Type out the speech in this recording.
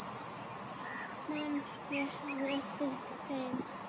Man einhver eftir þeim?